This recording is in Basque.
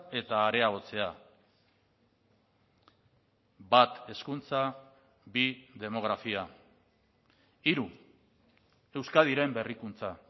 eta areagotzea hiru euskadiren berrikuntza